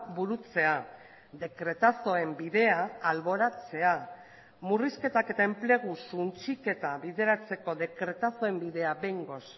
burutzea dekretazoen bidea alboratzea murrizketak eta enplegu suntsiketa bideratzeko dekretazoen bidea behingoz